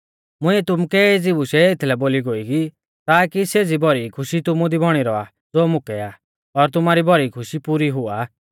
मुंइऐ तुमुकै एज़ी बूशै एथलै बोली ई गोई ताकी सेज़ी भौरी खुशी तुमु दी बौणी रौआ ज़ो मुकै आ और तुमारी भौरी खुशी पुरी हुआ